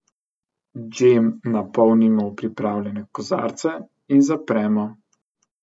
Džem napolnimo v pripravljene kozarce in zapremo.